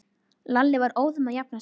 Lalli var óðum að jafna sig.